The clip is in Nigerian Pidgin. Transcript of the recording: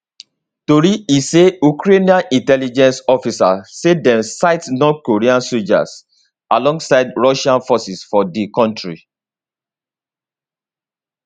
tori e say ukrainian intelligence officers say dem sight north korean soldiers alongside russian forces for di country